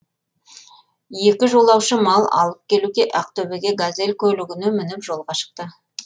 екі жолаушы мал алып келуге ақтөбеде газель көлігіне мініп жолға шықты